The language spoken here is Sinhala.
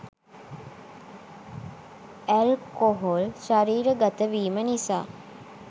ඇල්කොහොල් ශරීර ගත වීම නිසා